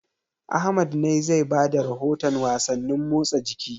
Ahmad ne zai ba da rahotan wasannin motsa jiki.